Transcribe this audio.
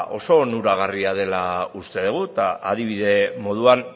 oso onuragarria dela uste degu eta adibide moduan